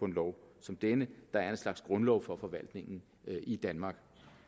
en lov som denne der er en slags grundlov for forvaltningen i danmark